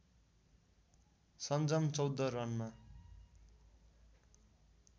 सन्जम १४ रनमा